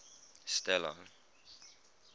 stella